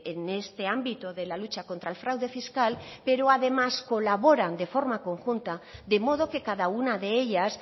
en este ámbito de la lucha contra el fraude fiscal pero además colaboran de forma conjunta de modo que cada una de ellas